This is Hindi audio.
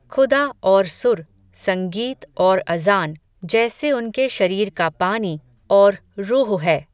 खुदा और सुर, संगीत और अज़ान, जैसे उनके शरीर का पानी, और रूह है